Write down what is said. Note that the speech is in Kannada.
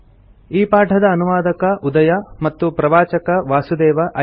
ಈ ಪಾಠದ ಅನುವಾದಕ ಉದಯ ಮತ್ತು ಪ್ರವಾಚಕ ವಾಸುದೇವ ಐಐಟಿ